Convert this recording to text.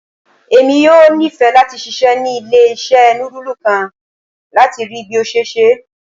Emi yoo nifẹ lati ṣiṣẹ ni ile-iṣẹ nudulu kan, lati rii bi o ṣe ṣe